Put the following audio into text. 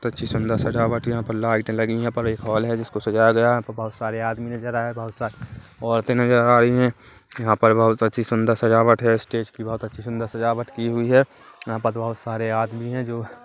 अच्छी सुन्दर सजावट यहाँ पर लाइटें लगी है यहाँ पर एक हॉल जिसको सजाया गया है बहोत सारे आदमी नजर आ रहे है यहाँ पर बहुत सारे औरतें है नजर आ रही है यहाँ पर बहुत अच्छी सुन्दर सजावट है स्टेज की बहुत अच्छी सुन्दर सजावट की हुई है यहाँ पर बहोत सारे आदमी है जो --